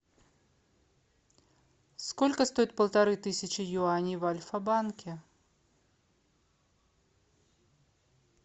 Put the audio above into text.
сколько стоит полторы тысячи юаней в альфа банке